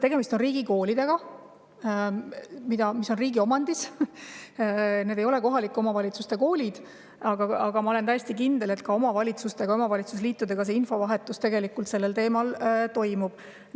Tegemist on riigikoolidega, mis on riigi omandis, need ei ole kohalike omavalitsuste koolid, aga ma olen täiesti kindel, et ka omavalitsustega, omavalitsusliitudega tegelikult infovahetus sellel teemal toimub.